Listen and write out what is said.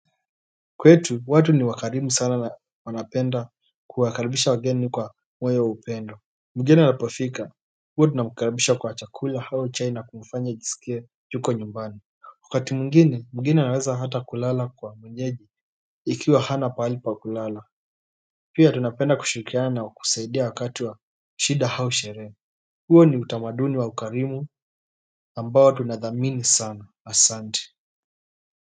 Kwetu watu ni wakarimu sana na wanapenda kuwakaribisha wageni kwa moyo wa upendo Mgeni anapofika huwa tunamakaribisha kwa chakula au chai na kumfanya ajisikie yuko nyumbani. Wskati mwingine mgeni anaweza hata kulala kwa mwenyeji ikiwa hana pahali pa kulala pia tunapenda kushirikiana na kusaidia wakati wa shida au sherehe huo ni utamaduni wa ukarimu ambao tunathamini sana asanti.